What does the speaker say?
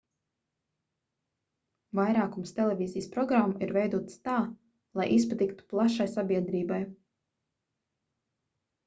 vairākums televīzijas programmu ir veidotas tā lai izpatiktu plašai sabiedrībai